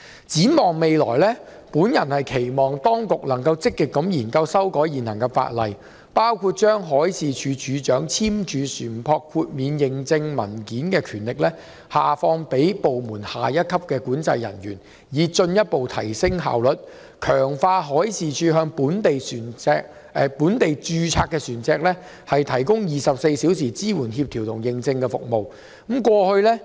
展望未來，我期望當局能積極研究修訂現行法例，包括將海事處處長簽發船舶豁免認證文件的權力下放至部門內下一級管制人員，以進一步提升效率，強化海事處向本地註冊船隻提供的24小時支援、協調和認證服務。